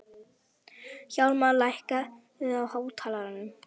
Hjálmar, lækkaðu í hátalaranum.